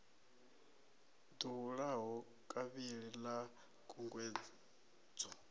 ḓo hulaho kavhili ḽa khunguwedzo